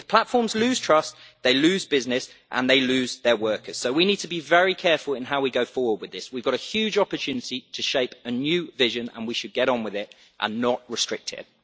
If platforms lose trust, they lose business and they lose their workers, so we need to be very careful in how we go forward with this. We have got a huge opportunity to shape a new vision, and we should get on with it and not restrict it.